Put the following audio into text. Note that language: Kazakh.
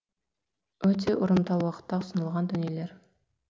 өте ұрымтал уақытта ұсынылған дүниелер